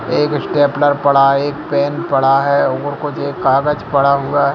एक स्टपनेर पड़ा है एक पेन पड़ा है एक काजग पड़ा है।